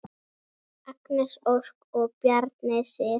Agnes Ósk og Bjarney Sif.